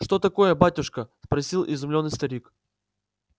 что такое батюшка спросил изумлённый старик